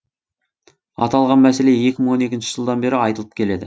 аталған мәселе екі мың он екінші жылдан бері айтылып келеді